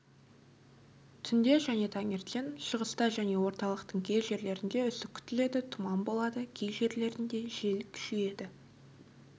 түнде және таңертең шығыста және орталықтың кей жерлерінде үсік күтіледі тұман болады кей жерлерінде жел күшейеді